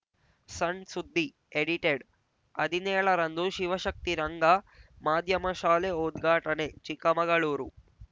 ಸಣ್‌ ಸುದ್ದಿ ಎಡಿಟೆಡ್‌ ಹದಿನೇಳರಂದು ಶಿವಶಕ್ತಿ ರಂಗ ಮಾಧ್ಯಮ ಶಾಲೆ ಉದ್ಘಾಟನೆ ಚಿಕ್ಕಮಗಳೂರು